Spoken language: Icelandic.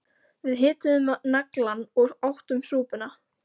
Við hituðum naglann og áttum súpuna